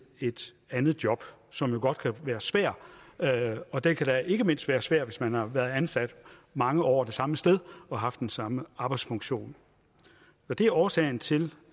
et andet job som jo godt kan være svær og den kan da ikke mindst være svær hvis man har været ansat mange år det samme sted og haft den samme arbejdsfunktion det er årsagen til